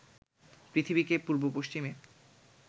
পৃথিবীকে পূর্ব পশ্চিমে